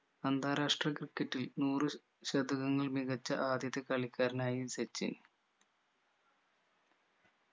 അന്താരാഷ്ട്ര ക്രിക്കറ്റിൽ നൂറ് ശതകങ്ങൾ മികച്ച ആദ്യത്തെ കളിക്കാരനായി സച്ചിൻ